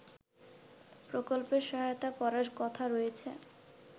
প্রকল্পে সহায়তা করার কথা রয়েছে